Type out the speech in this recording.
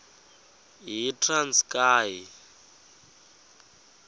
yitranskayi